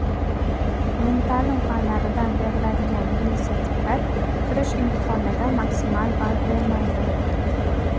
Umumta’lim fanlaridan beriladigan milliy sertifikat kirish imtihonida maksimal ball bermaydi.